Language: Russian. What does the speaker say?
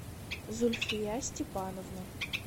зульфия степановна